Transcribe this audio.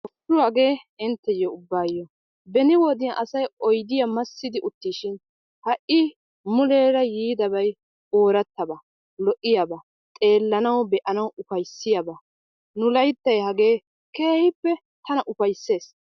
Hashshu hagee intteyyo ubbaayo. Beni wode asayi oydiya massidi uttiisishin ha'i muleera yiidabayi oorattaba, lo'iyaba, xeellanawu, be'anawu ufayssiyaba. Nu layttayi hagee keehippe tana ufaysses.